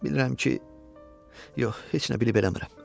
Bilirəm ki, yox, heç nə bilib eləmirəm.